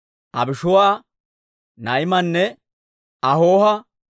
Abishuu'a, Naa'imaana, Ahooha,